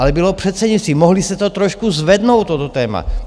Ale bylo předsednictví, mohli se to trošku zvednout, toto téma.